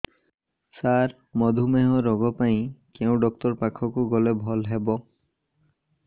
ସାର ମଧୁମେହ ରୋଗ ପାଇଁ କେଉଁ ଡକ୍ଟର ପାଖକୁ ଗଲେ ଭଲ ହେବ